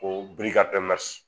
Ko